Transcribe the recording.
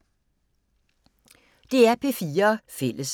DR P4 Fælles